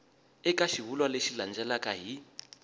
eka xivulwa lexi landzelaka hi